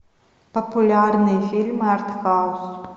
популярные фильмы арт хаус